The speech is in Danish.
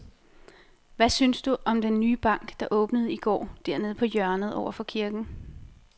Hvad synes du om den nye bank, der åbnede i går dernede på hjørnet over for kirken?